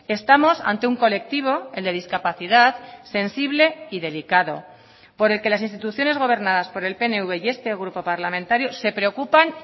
estamos ante un colectivo el de discapacidad sensible y delicado por el que las instituciones gobernadas por el pnv y este grupo parlamentario se preocupan